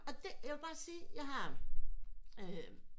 Og det vil jeg bare sige jeg har øm